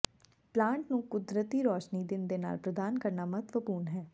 plant ਨੂੰ ਕੁਦਰਤੀ ਰੋਸ਼ਨੀ ਦਿਨ ਦੇ ਨਾਲ ਪ੍ਰਦਾਨ ਕਰਨਾ ਮਹੱਤਵਪੂਰਨ ਹੈ